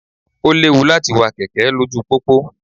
Ó léwu láti wa kẹ̀kẹ́ lójú pópó.